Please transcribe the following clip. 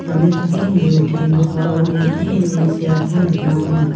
name dake niode pakmao L_P ine seako nikna man·a.